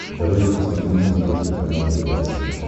давай я посмотрю на смотрешке канал тв центр